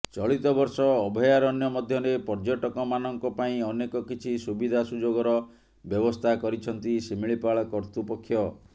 ଚଳିତବର୍ଷ ଅଭୟାରଣ୍ୟ ମଧ୍ୟରେ ପର୍ଯ୍ୟଟକମାନଙ୍କ ପାଇଁ ଅନେକ କିଛି ସୁବିଧା ସୁଯୋଗର ବ୍ୟବସ୍ଥା କରିଛନ୍ତି ଶିମିଳିପାଳ କର୍ତ୍ତୃପକ୍ଷ